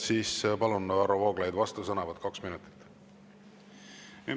Siis palun, Varro Vooglaid, vastusõnavõtt kaks minutit!